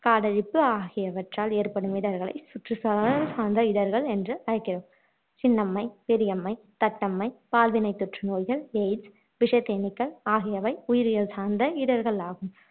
காடழிப்பு ஆகியவற்றால் ஏற்படும் இடர்களை சுற்றுச்சுழல் சார்ந்த இடர்கள் என்று அழைக்கிறோம் சின்னம்மை பெரியம்மை தட்டம்மை பால்வினை தொற்றுநோய்கள் எய்ட்ஸ் விஷத் தேனீக்கள் ஆகியவை உயிரியல் சார்ந்த இடர்கள் ஆகும்